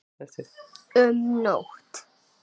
Um nótt